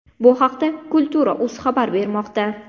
Bu haqda Kultura.uz xabar bermoqda .